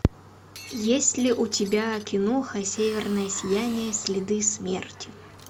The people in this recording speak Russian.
есть ли у тебя киноха северное сияние следы смерти